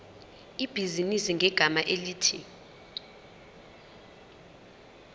ibhizinisi ngegama elithi